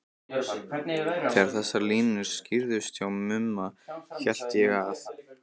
Þegar þessar línur skýrðust hjá Mumma hélt ég að